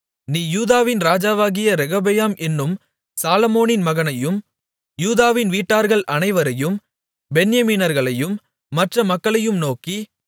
நீ யூதாவின் ராஜாவாகிய ரெகொபெயாம் என்னும் சாலொமோனின் மகனையும் யூதாவின் வீட்டார்கள் அனைவரையும் பென்யமீனர்களையும் மற்ற மக்களையும் நோக்கி